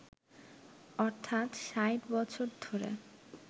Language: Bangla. অর্থাৎ ৬০ বছর ধরে